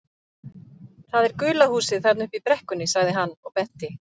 Það er gula húsið þarna uppi í brekkunni sagði hann og benti.